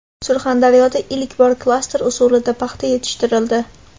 Surxondaryoda ilk bor klaster usulida paxta yetishtirildi.